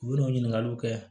U bɛ n'u ɲininkaliw kɛ